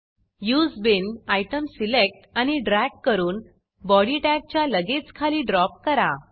उसे bean item select आणि drag करून body टॅगच्या लगेच खाली ड्रॉप करा